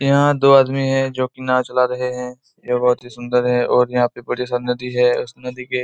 यहां दो आदमी है जो की नांव चला रहे है ये सुंदर है बड़ी सी नदी है उस नदी के